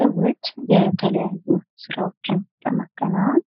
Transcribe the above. ሰዎች የተለያዩ ስራዎችን ለማከናወን